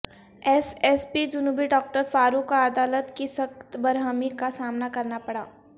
S S P جنوبی doctor Farooq کو عدالت کی سخت برہمی کا سامنا کرنا پڑا